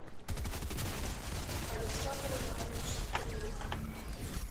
александр иванович скрылев